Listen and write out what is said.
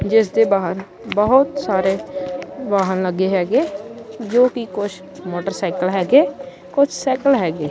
ਜਿਸ ਦੇ ਬਾਹਰ ਬਹੁਤ ਸਾਰੇ ਵਾਹਣ ਲੱਗੇ ਹੈਗੇ ਜੋ ਕਿ ਕੁਛ ਮੋਟਰਸਾਈਕਲ ਹੈਗੇ ਕੁਛ ਸਾਈਕਲ ਹੈਗੇ।